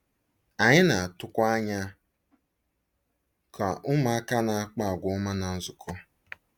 Anyị na-atụkwa anya ka ụmụaka na-akpa àgwà ọma ná nzukọ.